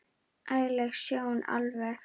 Ægi leg sjón alveg.